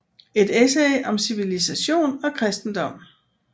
Et essay om civilisation og kristendom